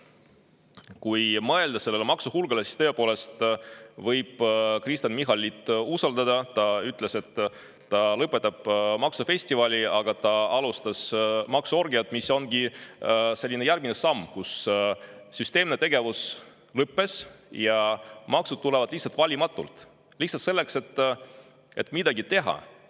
Kui mõelda sellele maksuhulgale, siis võib tõepoolest usaldada Kristen Michalit, sest ta ütles, et ta lõpetab maksufestivali, aga ta alustas maksuorgiat, mis ongi selline järgmine samm, kui süsteemne tegevus on lõppenud ja maksud tulevad valimatult, lihtsalt selleks, et midagi teha.